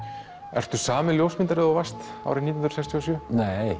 ertu sami ljósmyndari og þú varst árið nítján sextíu og sjö nei